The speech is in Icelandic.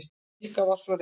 Rikka var svo reið.